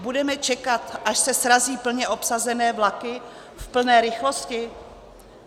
Budeme čekat, až se srazí plně obsazené vlaky v plné rychlosti?